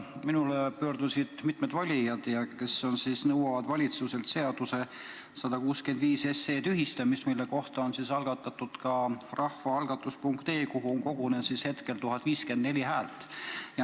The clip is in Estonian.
Minu poole on pöördunud mitmed valijad, kes nõuavad valitsuselt 165 SE tühistamist, mille kohta on ka rahvaalgatus, rahvaalgatus.ee-s on kogunenud hetkel 1054 häält.